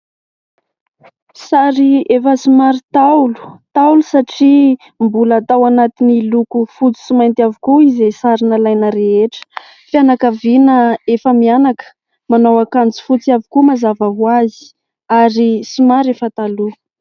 Sary efa somary ntaolo. Ntaolo satria mbola tao anatin'ny loko fotsy sy mainty avokoa izay sary nalaina rehetra. Fianakaviana efa-mianaka ; manao akanjo fotsy avokoa, mazava ho azy ary somary efa taloha.